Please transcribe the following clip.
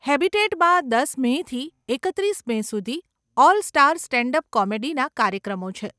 હેબીટેટમાં દસ મેથી એકત્રીસ મે સુધી 'ઓલ સ્ટાર સ્ટેન્ડ અપ કોમેડી'ના કાર્યક્રમો છે.